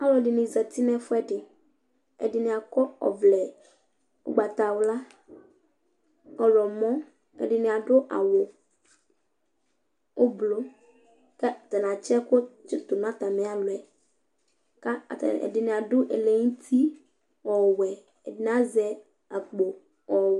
Alʋɛdìní zɛti ŋu ɛfʋɛɖi Ɛɖìní akɔ ɔvlɛ ugbatawla, ɔwlɔmɔ Ɛɖìní aɖu awu ʋblue kʋ ataŋi atsi ɛku tu ŋu atami alɔ'ɛ Ɛɖìní aɖu ɛlɛnuti ɔwɛ kʋ ɛɖìní azɛ akpo ɔwɛ